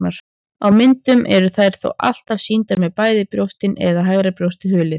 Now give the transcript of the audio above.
Á myndum eru þær þó alltaf sýndar með bæði brjóstin eða hægra brjóstið hulið.